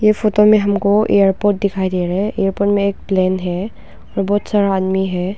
ये फोटो में हमको एयरपोर्ट दिखाई दे रहा है एयरपोर्ट में एक प्लेन है और बहुत सारा आदमी हैं।